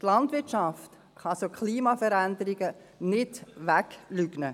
Die Landwirtschaft kann solche Klimaveränderungen nicht wegleugnen.